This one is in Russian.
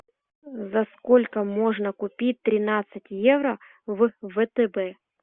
за сколько можно купить тринадцать евро в втб